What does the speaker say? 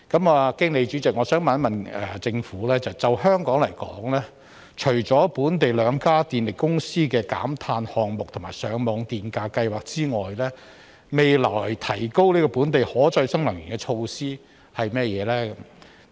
我想經主席詢問政府，就香港來說，除了本地兩家電力公司的減碳項目及上網電價計劃外，未來有甚麼措施可提高本地可再生能源的比例呢？